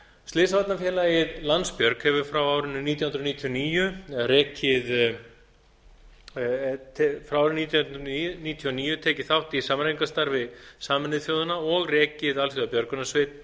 slysavarnafélagið landsbjörg hefur frá árinu nítján hundruð níutíu og níu tekið þátt í samræmingarstarfi sameinuðu þjóðanna og rekið alþjóðabjörgunarsveit